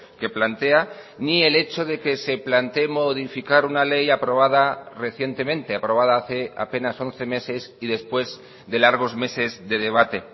que plantea ni el hecho de que se plantee modificar una ley aprobada recientemente aprobada hace apenas once meses y después de largos meses de debate